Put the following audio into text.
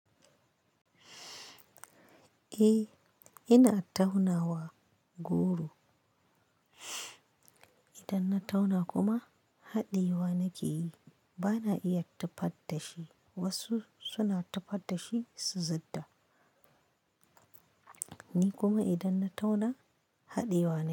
Eh, ina tauna wa goro. Idan na tauna kuma haɗiye wa nake yi. Bana iya tufad da shi. Wasu suna tufad da shi su zidda. Ni kuma idan na tauna haɗiyevwa ne.